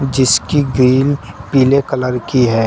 जिसकी ग्रील पीले कलर की है।